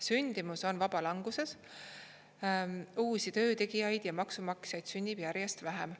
Sündimus on vabalanguses, uusi töötegijaid ja maksumaksjaid sünnib järjest vähem.